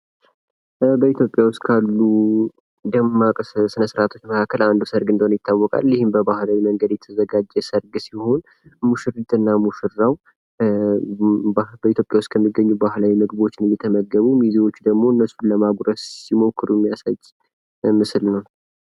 ከወደ ኢትዮጵያ ዉስጥ ካሉ ደማቅ ስነ-ስርአቶች መካከል አንዱ ሰርግ እንደሆነ ይታወቃል። ይህም በባህላዊ መልክ የተዘጋጀ ሲሆን ሙሽሪትና ሙሽራው በኢትዮጵያ ዉስጥ ባህላዊ ምድብ እየተመገቡ እነሱን ለማጉረስ ሲሞክሩ የሚያሳይ ምስል ነው።